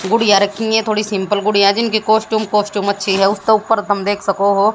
गुड़िया रखी है थोड़ी सिम्पल गुड़िया जिनकी कॉस्टूम कॉस्टूम अच्छी है उसके ऊपर तुम देख सको हो।